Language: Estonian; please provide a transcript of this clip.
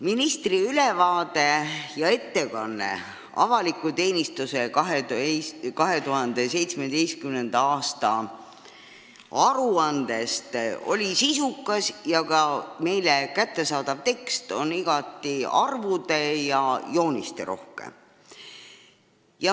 Ministri ülevaade avaliku teenistuse 2017. aasta aruandest oli sisukas, ka meile kättesaadav tekst on igati arvude- ja joonisterohke.